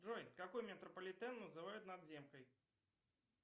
джой какой метрополитен называют надземкой